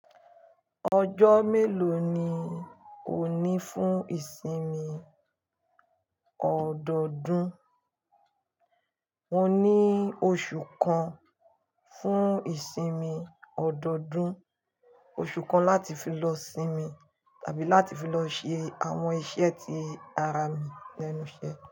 Ọjọ́ mélòó ni o ní fún ìsinmi ọdọọdún? Mo ní oṣù kan fún ìsinmi ọdọọdún. Oṣù kan láti fi lọ sinmi tàbí láti fi lọ ṣe àwọn iṣẹ́ tí ara mi ni enu iṣe.